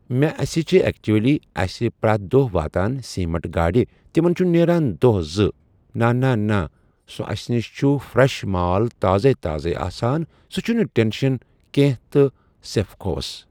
مےٚ اَسے چھِ ایکچُؤلی چھِ اَسہِ پرٮ۪تھ دۄہ واتان سیٖمٹ گاڑِ تِمَن چھُ نیران دۄہ زٕ نا نا نا سُہ اَسہِ نِش چھُ فرٛٮ۪ش مال تازَے تازَے آسَان سُہ چھِنہٕ ٹینشَن کینٛہہ تہٕ سیفکووَس